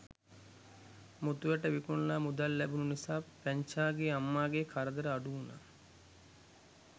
මුතු ඇට විකුණලා මුදල් ලැබුණ නිසා පැංචාගේ අම්මාගේ කරදර අඩු වුණා.